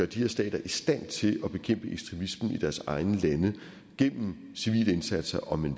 de her stater i stand til at bekæmpe ekstremisme i deres egne lande gennem civile indsatser om man